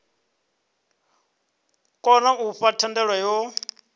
kona u fha thendelo yo